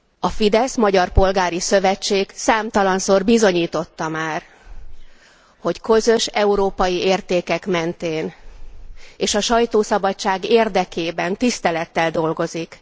A Fidesz Magyar Polgári Szövetség számtalanszor bizonyította már, hogy közös európai értékek mentén és a sajtószabadság érdekében, tisztelettel dolgozik.